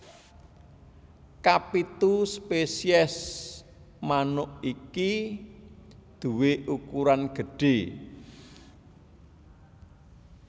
Kapitu spesies manuk iki duwé ukuran gedhé